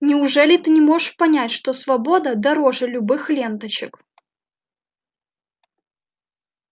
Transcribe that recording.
неужели ты не можешь понять что свобода дороже любых ленточек